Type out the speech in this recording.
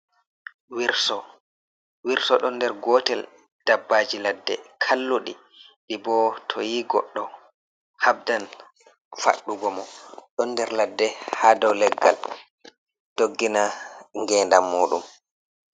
Wirso, Wirso ɗon nder gotel dabbaji ladde kalluɗi ɗi bo to yi goddo habdan faɗɗugo mo. Ɗon nder ladde ha dow leggal doggina genndam muɗum.